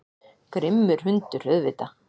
Grimmur hundur, auðvitað.